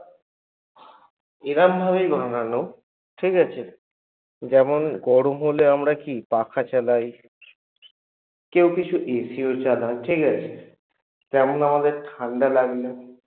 এরামভাবেই বানানো ঠিকাছে? যেমন গরম হলে আমরা কী পাখা চালাই কেউ AC ও চালায় ঠিকাছে? তেমন আমাদের ঠান্ডা লাগলে